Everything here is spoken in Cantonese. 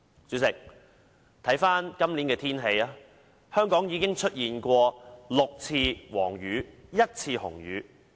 主席，今年香港已出現6次黃雨和1次紅雨。